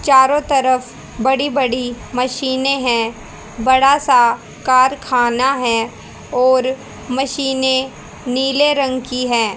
चारो तरफ बड़ी बड़ी मशीने है बड़ा सा कारखाना है और मशीने नीले रंग की है।